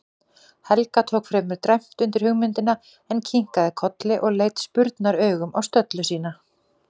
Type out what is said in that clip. Helga tók fremur dræmt undir hugmyndina, en kinkaði kolli og leit spurnaraugum á stöllu sína.